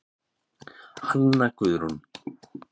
Hanna Guðrún.